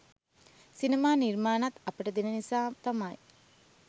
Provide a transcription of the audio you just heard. සිනමා නිර්මාණත් අපට දෙන නිසා තමයි